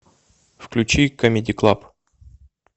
включи камеди клаб